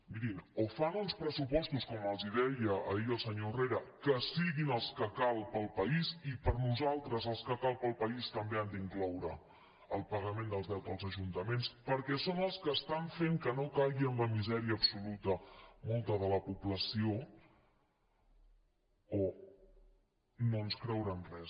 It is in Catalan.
mirin o fan uns pressupostos com els deia ahir el senyor herrera que siguin els que calen per al país i per nosaltres els que calen per al país també han d’incloure el pagament del deute als ajuntaments per·què són els que estan fent que no caigui en la misèria absoluta molta de la població o no ens creurem res